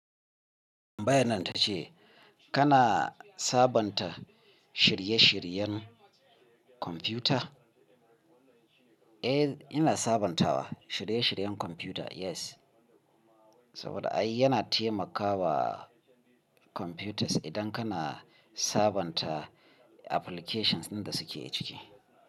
Tambayan nan ta ce kana sabonta shirye-shiryen kwamfuta? Eh, ina sabantawa shirye-shiryen kwamfuta yes. Saboda ai yana taimakawa kwamfutas idan kana sabonta applications danda suke ciki.